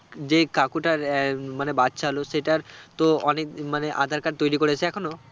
যেই কাকুটার আহ মানে বাচ্চা হলো সেটার তো অনেক মানে আঁধার card তৈরী করেছে এখনো?